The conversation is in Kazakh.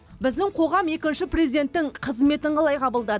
біздің қоғам екінші президенттің қызметін қалай қабылдады